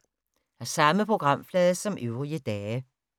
Samme programflade som øvrige dage